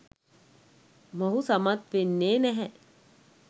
මොහු සමත් වෙන්නේ නැහැ.